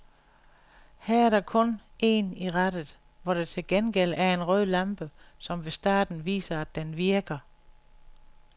Her er der kun en i rattet, hvor der til gengæld er en rød lampe, som ved starten viser, at den virker.